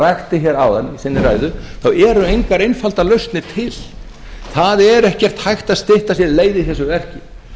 rakti hér áðan í sinni ræðu þá eru engar einfaldar lausnir til það er ekkert hægt að stytta sér leið í þessu verki